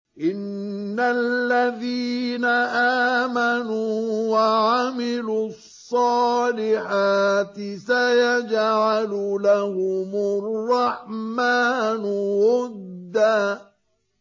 إِنَّ الَّذِينَ آمَنُوا وَعَمِلُوا الصَّالِحَاتِ سَيَجْعَلُ لَهُمُ الرَّحْمَٰنُ وُدًّا